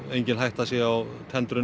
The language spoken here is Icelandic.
engin hætta sé á tendrun